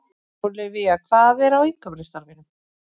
Ólivía, hvað er á innkaupalistanum mínum?